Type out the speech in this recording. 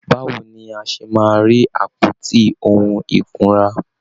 Báwo ni a ṣe máa rí àpótí ohun ìkunra?